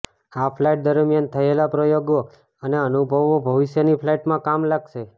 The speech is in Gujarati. આ ફ્લાઈટ દરમિયાન થયેલાં પ્રયોગો અને અનુભવો ભવિષ્યની ફલાઈટમાં કામ લાગશે